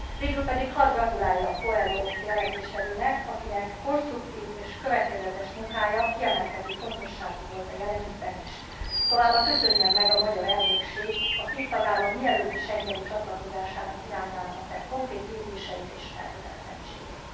Végül hadd gratuláljak Coelho jelentéstevőnek, akinek konstruktív és következetes munkája kiemelkedő fontosságú volt a jelen ügyben is, továbbá köszönjem meg a magyar elnökség a két tagállam mielőbbi schengeni csatlakozásának irányába tett konkrét lépéseit és elkötelezettségét.